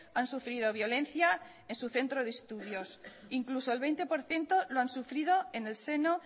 han sufrido violencia en su centro de estudios incluso el veinte por ciento lo han sufrido en el seno